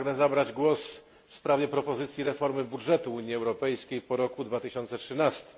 Pragnę zabrać głos w sprawie propozycji reformy budżetu Unii Europejskiej po 2013